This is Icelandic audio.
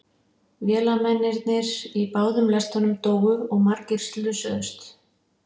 Vélamennirnir í báðum lestunum dóu og margir slösuðust.